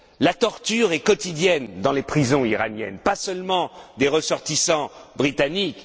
La torture est quotidienne dans les prisons iraniennes, mais pas seulement pour les ressortissants britanniques.